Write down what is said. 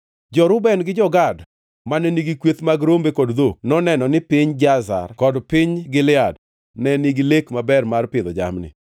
Jo-Reuben gi jo-Gad, mane nigi kweth mag rombe kod dhok, noneno ni piny Jazer kod piny Gilead ne nigi lek maber mar pidho jamni.